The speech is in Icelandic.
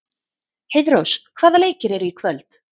Heiðrós, hvaða leikir eru í kvöld?